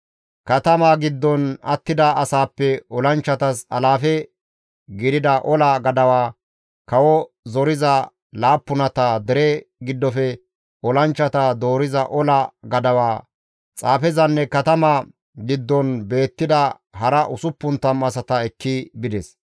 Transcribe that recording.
Katamaa giddon attida asaappe olanchchatas alaafe gidida ola gadawa, kawo zoriza laappunata, dereza giddofe olanchchata dooriza ola gadawa, xaafezanne katama giddon beettida hara 60 asata ekki bides.